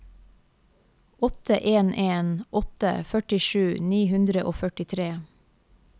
åtte en en åtte førtisju ni hundre og førtitre